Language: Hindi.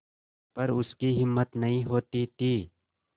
पर उसकी हिम्मत नहीं होती थी